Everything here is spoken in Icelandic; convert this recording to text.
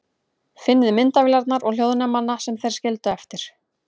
Finnið myndavélarnar og hljóðnemana sem þeir skildu eftir.